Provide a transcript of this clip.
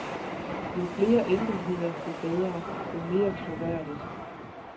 Jo flere enkeltheder jo bedre, jo mere troværdigt.